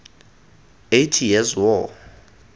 eighty years war